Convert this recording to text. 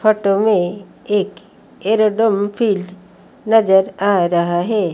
Photo में एक aerodrome field नजर आ रहा है।